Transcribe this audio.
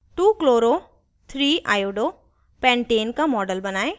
2chloro3iodopentane का model बनायें